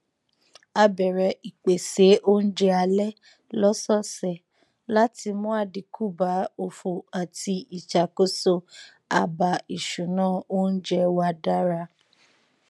a bẹrẹ ìpésé oúnjẹ alẹ lọsọọsẹ láti mú àdínkù bá òfò àti ìṣàkóso àbá ìṣúná oúnjẹ wa dára